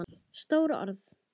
Stór orð.